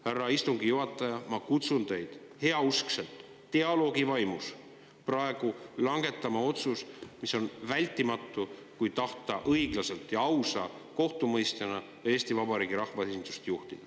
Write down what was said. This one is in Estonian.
Härra istungi juhataja, ma kutsun üles teid heauskselt dialoogi vaimus praegu langetama otsust, mis on vältimatu, kui tahta õiglaselt ja ausa kohtumõistjana Eesti Vabariigi rahvaesindust juhtida.